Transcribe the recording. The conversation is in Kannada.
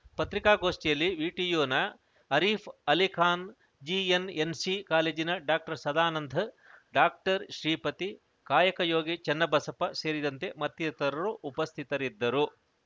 ಪತ್ರಿಕಾಗೋಷ್ಠಿಯಲ್ಲಿ ವಿಟಿಯುನ ಅರೀಫ್‌ ಅಲಿಖಾನ್‌ ಜಿಎನ್‌ಎನ್‌ಸಿ ಕಾಲೇಜಿನ ಡಾಕ್ಟರ್ ಸದಾನಂದ್‌ ಡಾಕ್ಟರ್ ಶ್ರೀಪತಿ ಕಾಯಕಯೋಗಿ ಚನ್ನಬಸಪ್ಪ ಸೇರಿದಂತೆ ಮತ್ತಿತರರು ಉಪಸ್ಥಿತರಿದ್ದರು